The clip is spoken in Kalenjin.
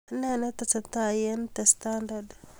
Nee netestai eng 'the standard'